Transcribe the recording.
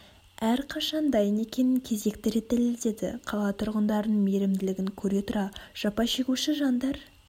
әр қашан дайын екенін кезекті рет дәлеледеді қала тұрғындарының мейірімділігін көре тұра жапа шегуші жандар